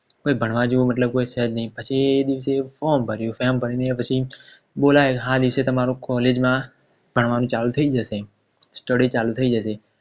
કોઈ ભણવા જેવું મતલબ કોઈ છે જ ની પછી દિવસે form ભરિયું form ભરી ને પછી જે દિવસે તમારું College માં ભણવાનું ચાલુ થઈ જશે Study ચાલુ થઈ જશે